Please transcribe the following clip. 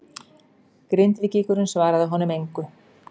Grindvíkingurinn svaraði honum engu.